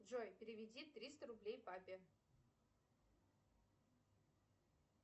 джой переведи триста рублей папе